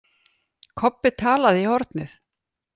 Kobbi talaði í hornið.